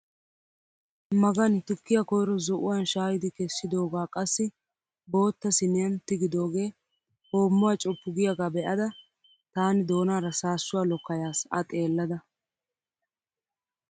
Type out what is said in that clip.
Magani tukkiyaa koyro zo"uwaan shaayidi kessidoogaa qassi bootta siiniyaan tigidoogee hoommuwaa coppu giyaagaa be'ada taani doonaara saassuwaa lokkayas a xeellada!